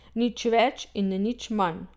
Nič več in nič manj.